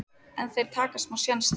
en þeir taka smá séns þar.